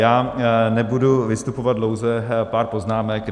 Já nebudu vystupovat dlouze, pár poznámek.